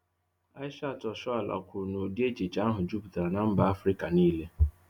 Asisat Oshoala kwúrù na ụ̀dị́ échìchè áhụ̀ juputara na mba Afrịka niile